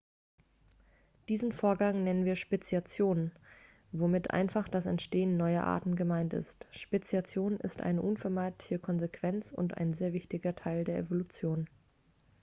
diesen vorgang nennen wir speziation womit einfach das entstehen neuer arten gemeint ist speziation ist eine unvermeidliche konsequenz und ein sehr wichtiger teil der evolution